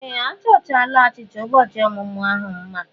Ee! A chọchaala achịcha ụbọchị ọmụmụ ahụ mma.